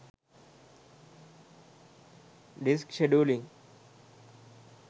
disk scheduling